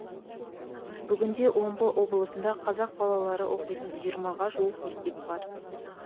бүгінде омбы облысында қазақ балалары оқитын жиырмаға жуық мектеп бар